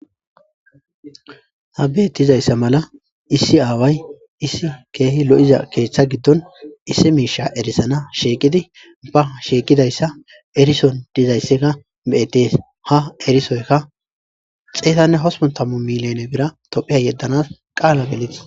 Ha be7ettizayssa mala issi aaway issi keehi lo7iza keeththa giddon issi miisha erisana sheeqidi ba sheeqidayssa erison dizaysseka beyettees ha erisoyka xeetanne hospontammu miliyone bira tophia yeddanas qaala gelitis